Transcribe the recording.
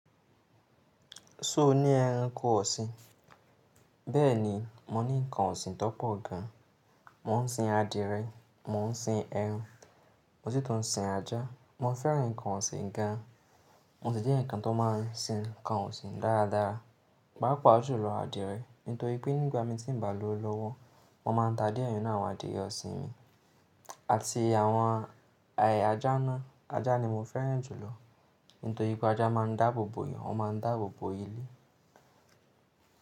Ṣo ní ẹranko ọ̀sìn? Bẹ́ẹ̀ni, mo ní nǹkan ọ̀sìn tó pọ̀ gan. Mo ń sin adìẹ, mo ń sin ẹran, mo sì tún sin ajá. Mo fẹ́ràn nǹkan ọ̀sìn gan. Mo ti jẹ́ nǹkan tó máa ń sin nǹkan ọ̀sìn dáradára. Paapa ju lọ adìyẹ, nítorí pé nígbà mí tí ń ba lò lọ́wọ́, mo máa ń ta dìẹ ninu awọ́n adìyẹ ọ̀sìn mi. Àti àwọn ajá náà, ajá ni mo fẹ́ràn jù lọ. Nítorí pé ajá máa ń dáàbò bò yàn, wọ́n máa ń dáàbò bò ilé.